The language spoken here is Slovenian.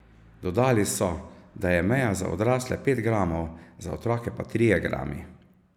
Dodali so, da je meja za odrasle pet gramov, za otroke pa trije grami.